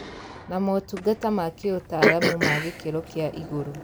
Na motungata ma kĩũtaaramu ma gĩkĩro kĩa igũrũ